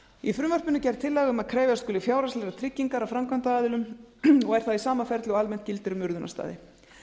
í frumvarpinu er gerð tillaga um að krefjast skuli fjárhagslegrar tryggingar af framkvæmda aðilum og er það í sama ferli og almennt gildir um urðunarstaði